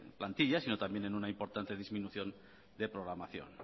plantilla sino también en una importante disminución de programación